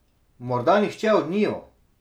Morda nihče od njiju?